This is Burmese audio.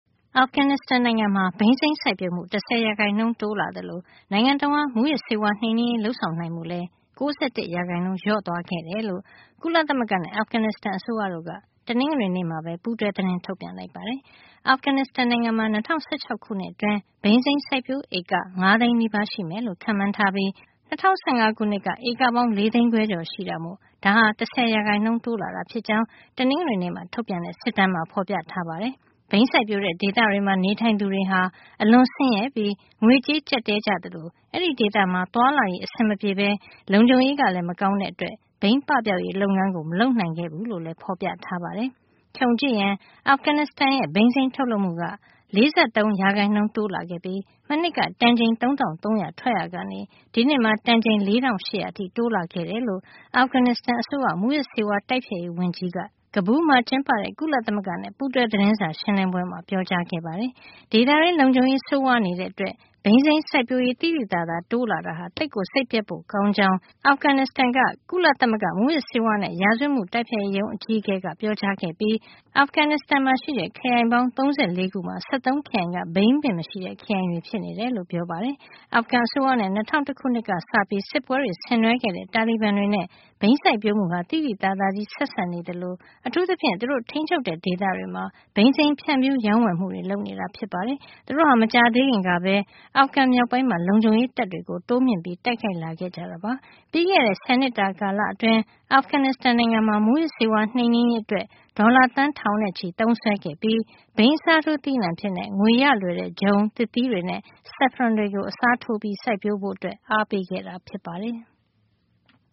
အာဖဂန်နစ္စတန် နိုင်ငံမှာ ဘိန်းစိမ်းစိုက်ပျိုးမှု ၁၀ ရာခိုင်နှုန်း တိုးလာ သလို နိုင်ငံတဝှမ်း မူးယစ်ဆေးဝါး နှိမ်နင်းရေး လုပ်ဆောင်နိုင်မှု လည်း ၉၁ ရာခိုင်နှုန်း လျော့ သွားခဲ့တယ်လို့ ကုလသမဂ္ဂနဲ့ အာဖဂန်နစ္စတန်အစိုးရတို့က တနင်္ဂနွေနေ့မှာပဲ ပူးတွဲ သတင်းထုတ်ပြန်လိုက် ပါတယ်။ အာဖဂန်နစ္စတန်နိုင်ငံမှာ ၂၀၁၆ ခုနှစ်အတွင်း ဘိန်းစိမ်းစိုက်ပျိုးဧက ၅ သိန်းနီးပါး (၄၉၆, ၆၈၁ ဧက) ရှိမယ်လို့ ခန့်မှန်းထားပြီး၊ ၂၀၁၅ ခုနှစ်က ဧကပေါင်း ၄ သိန်းခွဲကျော်ရှိတာမို့ ဒါဟာ ၁၀ % တိုးလာတာ ဖြစ်ကြောင်း တနင်္ဂနွေနေ့ ထုတ်ပြန်တဲ့ စစ်တမ်းမှာ ဖေါ်ပြထားပါတယ်။ ဘိန်းစိုက်ပျိုးတဲ့ ဒေသတွေမှာ နေထိုင်သူတွေဟာ အလွန်ဆင်းရဲပြီး ငွေကြေးကျပ်တည်းကြသလို အဲဒီဒေသမှာ သွားလာရေး အဆင်မပြေပဲ လုံခြုံရေးကလည်း မကောင်းတဲ့အတွက် ဘိန်းပပျောက်ရေး လုပ်ငန်းကို မလုပ်နိုင်ခဲ့ဘူးလို့လည်း ဖေါ်ပြထားပါတယ်။ ခြုံကြည့်ရင် အာဖဂန်နစ္စတန်ရဲ့ ဘိန်းစိမ်းထုတ်လုပ်မှုက ၄၃ ရာခိုင်နှုန်း တိုးလာခဲ့ပြီး မနှစ်က တန်ချိန် ၃၃၀၀ ထွက်ရာကနေ ဒီနှစ်မှာ တန်ချိန် ၄၈၀၀ အထိ တိုးလာခဲ့တယ်လို့ အာဖဂန်နစ္စတန် အစိုးရ မူးယစ်ဆေးဝါး တိုက်ဖျက်ရေး ဝန်ကြီး Salamat Azimi က Kabul မှာ ကျင်းပတဲ့ ကုလသမဂ္ဂနဲ့ ပူးတွဲ သတင်းစာရှင်းလင်းပွဲမှာ ပြောကြားခဲ့ပါတယ်။ ဒေသတွင်း လုံခြုံရေး ဆိုးဝါးနေတဲ့အတွက် ဘိန်းစိုက်ပျိုးရေး သိသိသာသာ တိုးလာတာဟာ သိပ်စိတ်ပျက်ဖို့ ကောင်းကြောင်း အာဖဂန်နစ္စတန် က (UNODC) ကုလသမဂ္ဂ မူးယစ်ဆေးဝါးနဲ့ ရာဇဝတ်မှု တိုက်ဖျက်ရေးရုံး အကြီးအကဲ Andrey Avetisyan ကပြောကြားခဲ့ပြီးအာဖဂန်နစ္စတန် မှာ ရှိတဲ့ ခရိုင်ပေါင်း ၃၄ ခုမှာ ၁၃ ခရိုင်က ဘိန်းပင်မရှိတဲ့ ခရိုင်တွေ အဖြစ် ရှိနေတယ်လို့ ပြောပါတယ်။ အာဖဂန်အစိုးရနဲ့ ၂၀၀၁ ခုနှစ်ကစပြီး စစ်ပွဲဆင်နွှဲခဲ့တဲ့ တာလီဘန်တွေနဲ့ ဘိန်းစိုက်ပျိုးမှုဟာ သိသိသာသာ ဆက်စပ်နေသလို အထူးသဖြင့် သူတို့ ထိမ်းချုပ်တဲ့ ဒေသတွေမှာ ဘိန်းစိမ်း ဖြန့်ဖြူး ရောင်းဝယ်မှုတွေ လုပ်နေတာ ဖြစ်ပါတယ်။ သူတို့ဟာ မကြာသေးခင်ကပဲ အာဖဂန် မြောက်ပိုင်းမှာ လုံခြုံရေး တပ်တွေကို တိုးမြှင့် တိုက်ခိုက်လာခဲ့ကြတာပါ။ ပြီးခဲ့တဲ့ ဆယ်နှစ်တာ ကာလအတွင်း အာဖဂန်နစ္စတန် နိုင်ငံမှာ မူးယစ် ဆေးဝါး နှိမ်နင်းရေးအတွက် ဒေါ်လာ သန်း ထောင်နဲ့ ချီသုံးစွဲခဲ့ပြီး ဘိန်းအစားထိုး သီးနှံအဖြစ် ငွေရလွယ်တဲ့ ဂျုံ၊ ၊ သစ်သီးတွေနဲ့ saffron တွေကို အစားထိုး စိုက်ပျိုးဖို့ အားပေးခဲ့တာ ဖြစ်ပါတယ်။